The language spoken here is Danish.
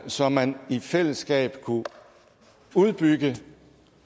så man i fællesskab kunne udbygge